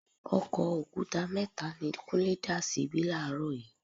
Ọkọ̀ òkúta mẹ́ta ni Kúnlé dà síbí làárọ̀ yìí.